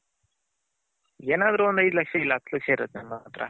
ಏನಾದ್ರು ಒಂದ್ ಐದು ಲಕ್ಷ ಇಲ್ಲ ಹತ್ ಲಕ್ಷ ಇರತ್ ಅಲ್ವ